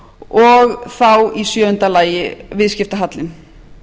og þá í sjöunda lagi viðskiptahallinn